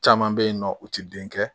Caman bɛ yen nɔ u tɛ den kɛ